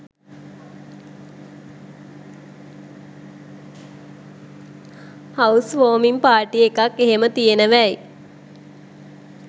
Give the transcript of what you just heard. house වෝමිං party එකක් එහෙම තියෙනවැයි